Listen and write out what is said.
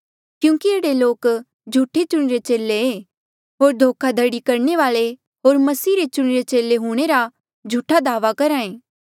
क्यूंकि ऐहड़े लोक झूठे चुणिरे चेले ऐें होर धोखा धड़ी करणे वाले होर मसीह रे चुणिरे चेले हूंणे रा झूठा दावा करहा ऐें